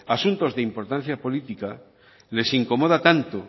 asuntos de importancia política les incomoda tanto